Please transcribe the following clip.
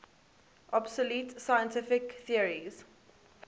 obsolete scientific theories